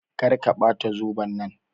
Kar ka Bata zoben nan.